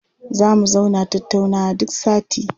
Za mu zauna tattaunawa duk sati.